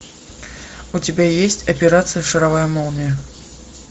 у тебя есть операция шаровая молния